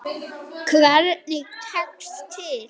Hvernig tekst til?